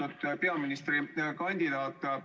Austatud peaministrikandidaat!